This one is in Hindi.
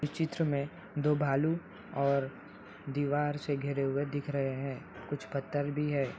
इस चित्र मे दो भालू और दीवार से घिरे हुए दिख रहे हैं। कुछ पत्थर भी है।